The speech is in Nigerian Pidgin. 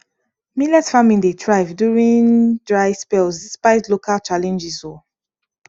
millet farming dey thrive during dry spells spite local challenges um